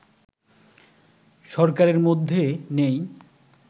সরকারের মধ্যে নেই